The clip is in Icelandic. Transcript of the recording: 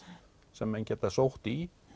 sem menn geta sótt í